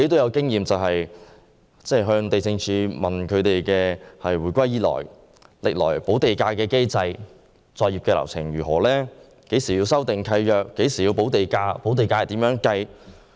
我曾詢問地政總署有關香港回歸以來的補地價機制和作業流程，包括何時須修訂契約、何時須補地價，以及補地價的計算方式。